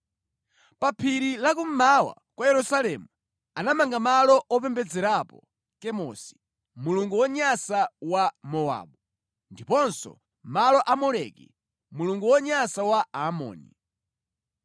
Pa phiri la kummawa kwa Yerusalemu, anamanga malo opembedzerapo Kemosi, mulungu wonyansa wa Mowabu, ndiponso malo a Moleki, mulungu wonyansa wa Aamoni.